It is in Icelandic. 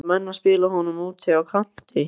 Ætla menn að spila honum úti á kanti?